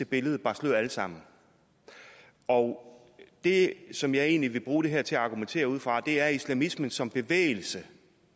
billede bar slør alle sammen og det som jeg egentlig vil bruge det her til at argumentere ud fra er at islamismen som bevægelse